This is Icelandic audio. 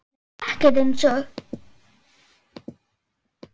Nei ekkert eins og